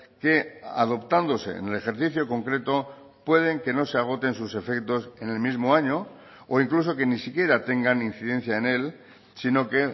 que adoptándose en el ejercicio concreto pueden que no se agoten sus efectos en el mismo año o incluso que ni siquiera tengan incidencia en él sino que